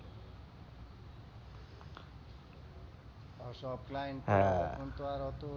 সব client কে হ্যাঁ তখন তো আর ওতো